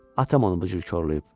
Atam onu bu cür korlayıb.